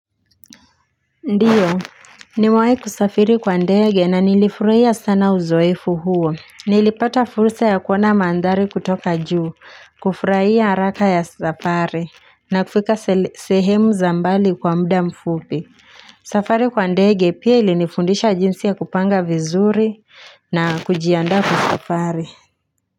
Ndiyo nimewahi kusafiri kwa ndege na nilifurahia sana uzoefu huo. Nilipata fursa ya kuona mandhari kutoka juu, kufurahia haraka ya safari na kufika sehemu za mbali kwa muda mfupi. Safari kwa ndege pia ilinifundisha jinsi ya kupanga vizuri na kujianda kwa safari.